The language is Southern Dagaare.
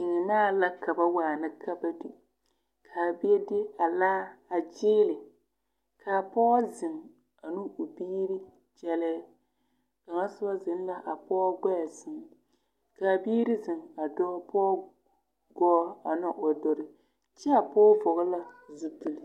Seɛmaa la ka ba waana ka ba di ka a bie de a laa a kyeeli ka a pɔɡe zeŋ ane o suuri kyɛllɛɛ kaŋ soba zeŋ la a pɔɔ ɡbɛɛ sɛŋ ka a biiri zeŋ a dɔɔ pɔɡe poɔ ane o dori kyɛ s pɔɡe pɔɔ zupili.